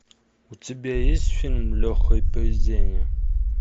у тебя есть фильм легкое поведение